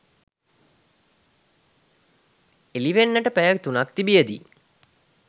එළිවෙන්නට පැය තුනක් තිබියදී